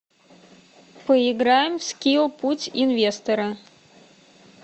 поиграем в скилл путь инвестора